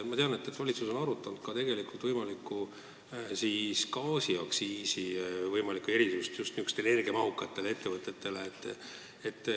Ma tean, et valitsus on arutanud just niisugustele energiamahukatele ettevõtetele tehtavat võimalikku gaasiaktsiisi erisust.